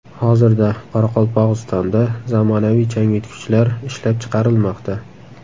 Hozirda Qoraqalpog‘istonda zamonaviy changyutgichlar ishlab chiqarilmoqda.